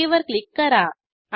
okay वर click करा